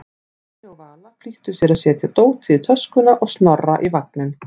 Stjáni og Vala flýttu sér að setja dótið í töskuna og Snorra í vagninn.